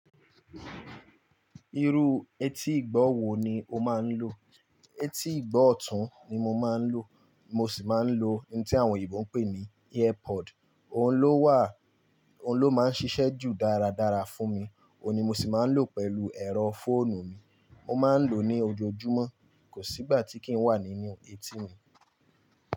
Irú etí ìgbọ́ wo ni o máa ń lò? Etí ìgbọ́ ọ̀tún ni mo máa ń lò, mo sì máa ń lò ohun tí àwọn Oyinbo ń pè ní ear pod. Òun ló wà, òun ló máa ń ṣiṣẹ́ jù dáradára fún mi, òun ni mo sì máa ń lò pẹ̀lú ẹ̀rọ fóònù mi. Mo máa ń lò ó ní ojoojúmọ́, kò sí ìgbà tí kì í wà nínú etí mi.